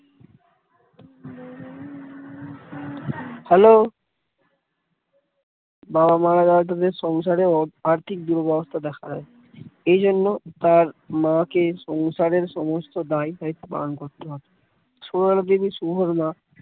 hello বাবা মারা যাওয়ার জন্য সংসারে আর্থিক দুরবস্থা দেখা যায় এইজন্য তার মাকে সংসারের সমস্ত দায়-দায়িত্ব পালন করতে হয় সুরবালা দেবী শুভর মা